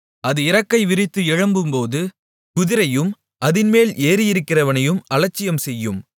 அது இறக்கை விரித்து எழும்பும்போது குதிரையையும் அதின்மேல் ஏறியிருக்கிறவனையும் அலட்சியம் செய்யும்